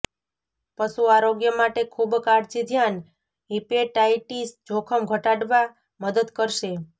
પશુ આરોગ્ય માટે ખૂબ કાળજી ધ્યાન હીપેટાઇટિસ જોખમ ઘટાડવા મદદ કરશે